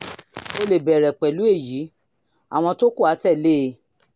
o lè bẹ̀rẹ̀ pẹ̀lú èyí; àwọn tó kù á tẹ̀lé e